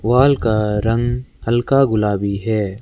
Wall का रंग हल्का गुलाबी है।